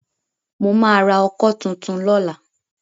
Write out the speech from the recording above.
Mo máa ra ọkọ́ tuntun lọ́la.